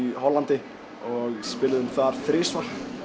Hollandi og spiluðum þar þrisvar